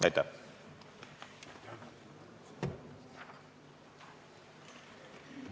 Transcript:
Aitäh!